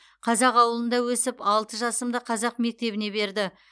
қазақ ауылында өсіп алты жасымда қазақ мектебіне берді